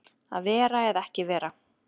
Að vera eða ekki vera